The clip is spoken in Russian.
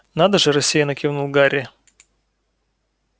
надо же рассеянно кивнул гарри